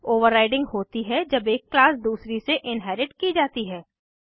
overriding होती है जब एक क्लास दूसरी से इन्हेरिट की जाती है